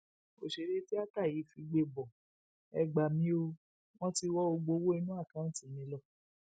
ọsẹrẹ tíata yìí figbe bo e gbà mí o wọn ti wọ gbogbo owó inú àkáùntì mi lọ